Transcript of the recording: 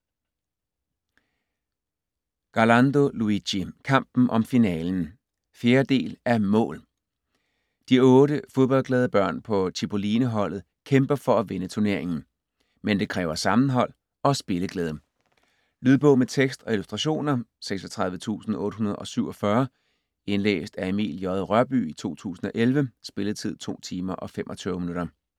Garlando, Luigi: Kampen om finalen 4. del af Mål!. De otte fodboldgale børn på Cipolline-holdet kæmper for at vinde turneringen. Men det kræver sammenhold og spilleglæde. Lydbog med tekst og illustrationer 36847 Indlæst af Emil J. Rørbye, 2011. Spilletid: 2 timer, 25 minutter.